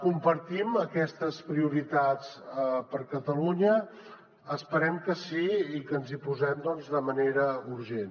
compartim aquestes prioritats per catalunya esperem que sí i que ens hi posem doncs de manera urgent